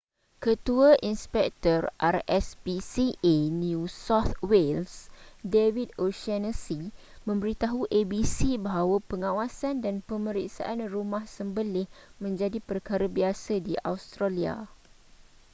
ketua inspektor rspca new south wales david o'shannessy memberitahu abc bahawa pengawasan dan pemeriksaan rumah sembelih menjadi perkara biasa di australia